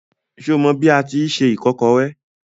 Ṣé o mọ bi a tíi se ìkọ́kọrẹ́?